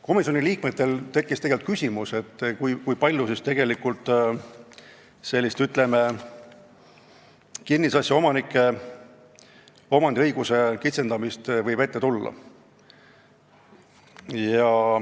Komisjoni liikmetel tekkis küsimus, kui palju võib sellist kinnisasja omanike omandiõiguse kitsendamist ette tulla.